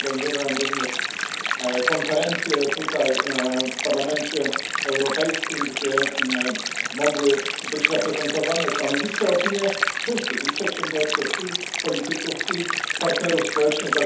Zresztą organizowałem również konferencję tutaj, w Parlamencie Europejskim, gdzie mogły być zaprezentowane stanowiska, opinie wszystkich i przedsiębiorców, i polityków, i partnerów społecznych.